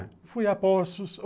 Ah, fui a Poços.